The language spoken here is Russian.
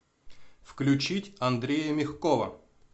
включить андрея мягкова